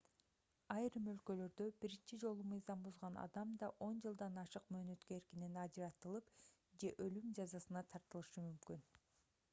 айрым өлкөлөрдө биринчи жолу мыйзам бузган адам да 10 жылдан ашык мөөнөткө эркинен ажыратылып же өлүм жазасына тартылышы мүмкүн